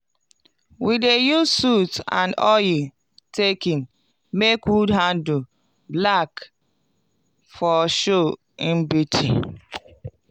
we dey use soot and oil taken make wood handle black for show im beauty